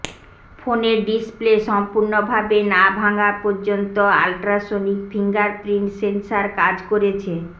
ফোনের ডিসপ্লে সম্পূর্ণ ভাবে না ভাঙ্গার পর্যন্ত আলট্রাসোনিক ফিঙ্গারপ্রিন্ট সেন্সার কাজ করেছে